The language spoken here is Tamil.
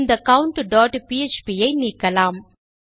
இந்த countபிஎச்பி ஐ நீக்கலாம்